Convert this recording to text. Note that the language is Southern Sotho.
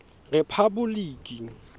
rephaboliki